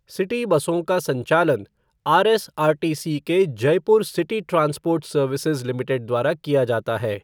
City बसों का संचालन आरएसआरटीसी के Jaipur city transport services limited द्वारा किया जाता है।